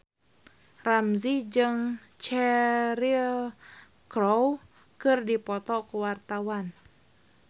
Ramzy jeung Cheryl Crow keur dipoto ku wartawan